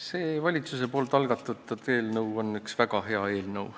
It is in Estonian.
See valitsuse algatatud eelnõu on üks väga hea eelnõu.